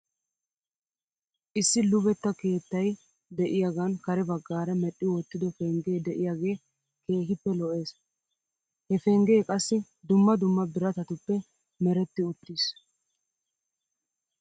Issi luvetta keettay de'iyaagan kare baggaara medhdhi wottido pengee de'iyaagee keehippe lo'es. He pengee qassi dumma dumma biratatuppe meretti uttis.